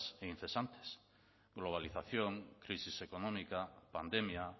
e incesantes globalización crisis económica pandemia